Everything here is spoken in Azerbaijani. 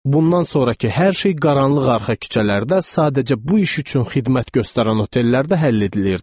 Bundan sonrakı hər şey qaranlıq arxa küçələrdə sadəcə bu iş üçün xidmət göstərən otellərdə həll edilirdi.